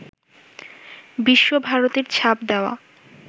বিশ্বভারতীর ছাপ দেওয়া